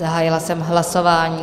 Zahájila jsem hlasování.